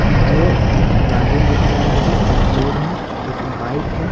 ये कुछ गार्डन दिख रहा आगे कुछ लोग है एक बाइक है।